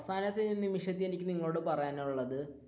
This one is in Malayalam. അവസാന നിമിഷത്തിൽ എനിക്ക് നിങ്ങളോട് പറയാനുളളത്.